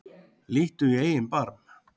Líttu í eigin barm